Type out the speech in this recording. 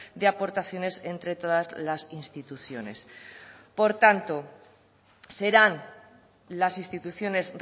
de aportaciones entre todas las instituciones por tanto serán las instituciones